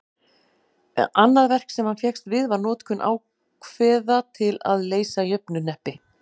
annað verk sem hann fékkst við var notkun ákveða til að leysa jöfnuhneppi